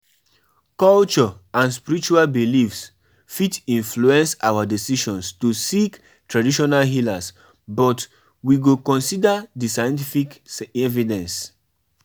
Mama, um me and Funke go join our village dance um troupe wen holiday start.